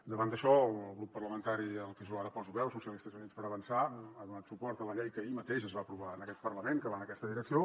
davant d’això el grup parlamentari al que jo ara poso veu socialistes i units per avançar ha donat suport a la llei que ahir mateix es va aprovar en aquest parlament que va en aquesta direcció